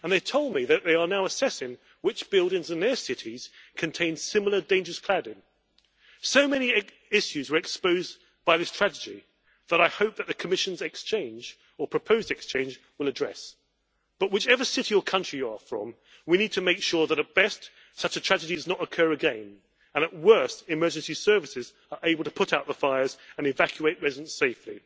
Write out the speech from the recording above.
They told me that they are now assessing which buildings in their cities contain similar dangerous cladding. So many issues were exposed by this tragedy that I hope that the Commission's exchange or proposed exchange will address. But whichever city or country you are from, we need to make sure that at best, such a tragedy does not occur again and at worst, emergency services are able to put out the fires and evacuate residents safely.